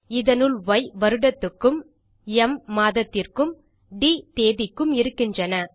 இதனுள் ய் வருடத்துக்கும் ம் மாதத்திற்கும் ட் தேதிக்கும் இருக்கின்றன